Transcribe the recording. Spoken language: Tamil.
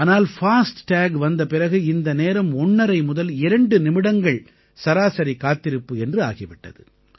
ஆனால் பாஸ்ட் டாக் வந்த பிறகு இந்த நேரம் ஒண்ணரை முதல் 2 நிமிடங்கள் சராசரி காத்திருப்பு என்று ஆகி விட்டது